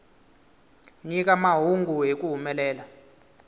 nyika mahungu hi ku humelela